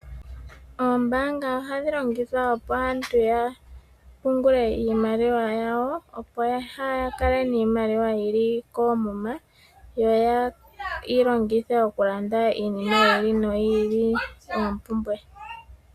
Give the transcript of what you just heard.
Oombaanga ohadhi longithwa opo aantu yapungule iimaliwa yawo, opo kaa yakale niimaliwa yili koomuma yo yeyi longithe okulanda iinima yi ili noyi ili eempumbwe.